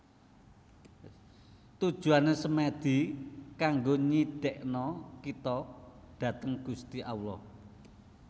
Tujuane Semedi kanggo nyidekno kito dhateng Gusti Allah